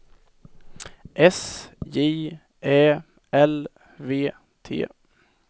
S J Ä L V T